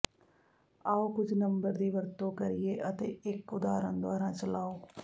ਆਉ ਕੁਝ ਨੰਬਰ ਦੀ ਵਰਤੋਂ ਕਰੀਏ ਅਤੇ ਇੱਕ ਉਦਾਹਰਣ ਦੁਆਰਾ ਚਲਾਉ